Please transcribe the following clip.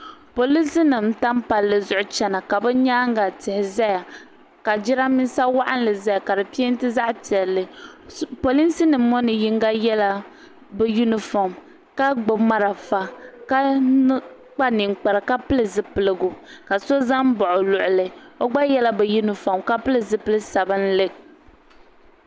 Polisi nima n tam palli zuɣu chena ka bɛ nyaanga tihi zaya ka jirambisa waɣinli zaya m penti zaɣa piɛlli polisi nima ŋɔ yinga yela bɛ yunifom ka gbibi marafa ka kpa ninkpara ka pili zipiligu ka so za m baɣi o luɣuli o gba yela bɛ yunifom ka pili zipili sabinli.